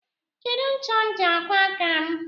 Kedu ncha m ji akwọ aka m?